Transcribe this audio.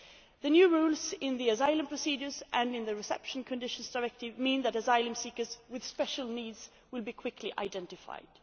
The new rules in the Asylum Procedures and Reception Conditions Directives mean that asylum seekers with special needs will be quickly identified.